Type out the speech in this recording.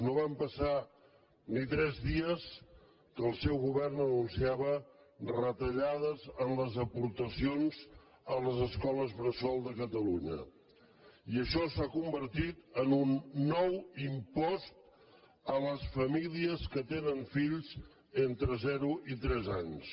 no van passar ni tres dies que el seu govern anun·ciava retallades en les aportacions a les escoles bressol de catalunya i això s’ha convertit en un nou impost a les famílies que tenen fills entre zero i tres anys